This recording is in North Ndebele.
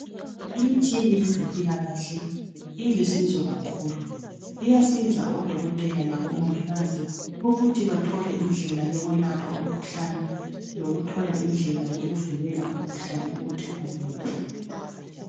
imitshina yezempilakhle ilusizo kakhulu iyasiza o dokotela labo mongikazi ukuthi bathole indlela yokwelapha umkhuhlane lokuthola indlela yokuvikela umkhuhlane ukuthi ungamemetheki